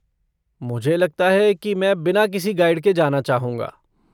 मुझे लगता है कि मैं बिना किसी गाइड के जाना चाहूँगा।